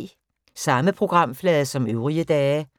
Samme programflade som øvrige dage